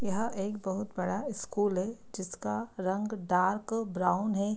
यह एक बहुत बड़ा स्कूल है जिसका रंग डार्क ब्राउन है।